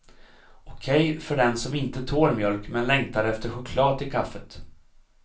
Okej för den som inte tål mjölk men längtar efter choklad till kaffet.